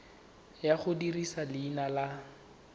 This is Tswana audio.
ya go dirisa leina la